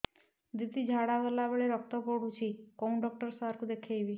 ଦିଦି ଝାଡ଼ା କଲା ବେଳେ ରକ୍ତ ପଡୁଛି କଉଁ ଡକ୍ଟର ସାର କୁ ଦଖାଇବି